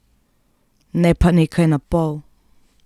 Ne pa nekaj napol.